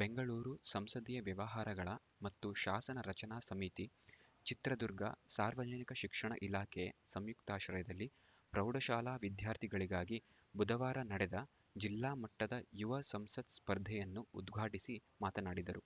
ಬೆಂಗಳೂರು ಸಂಸದೀಯ ವ್ಯವಹಾರಗಳ ಮತ್ತು ಶಾಸನ ರಚನಾ ಸಮಿತಿ ಚಿತ್ರದುರ್ಗ ಸಾರ್ವಜನಿಕ ಶಿಕ್ಷಣ ಇಲಾಖೆ ಸಂಯುಕ್ತಾಶ್ರಯದಲ್ಲಿ ಪ್ರೌಢಶಾಲಾ ವಿದ್ಯಾರ್ಥಿಗಳಿಗಾಗಿ ಬುಧವಾರ ನಡೆದ ಜಿಲ್ಲಾ ಮಟ್ಟದ ಯುವ ಸಂಸತ್‌ ಸ್ಪರ್ಧೆಯನ್ನು ಉದ್ಘಾಟಿಸಿ ಮಾತನಾಡಿದರು